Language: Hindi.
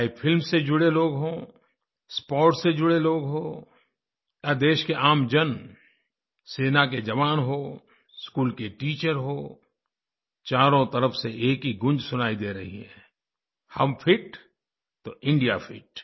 चाहे फिल्म से जुड़े लोग हों स्पोर्ट्स से जुड़े लोग हों या देश के आमजन सेना के जवान हों स्कूल की टीचर हों चारों तरफ़ से एक ही गूँज सुनाई दे रही है हम फिट तो इंडिया फिट